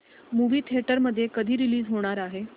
movie theatre मध्ये कधी release होणार आहे